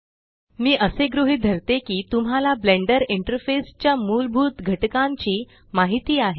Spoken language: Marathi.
मे असे गृहीत धरते की तुम्हाला ब्लेंडर इंटरफेस च्या मूलभूत घटकांची माहिती आहे